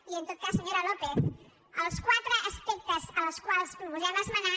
i en tot cas senyora lópez els quatre aspectes en els que proposem esmenar